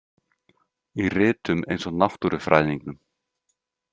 Í ritum eins og Náttúrufræðingnum.